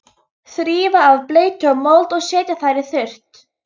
Þrífa af bleytu og mold og setja þær í þurrt.